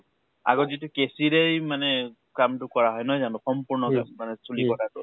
আগত যিটো কেছিৰেই মানে কাম টো কৰা হয়, নহয় জানো ? সম্পূৰ্ন মানে চুলি কটা টো